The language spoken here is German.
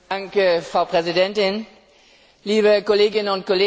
Frau Präsidentin, liebe Kolleginnen und Kollegen!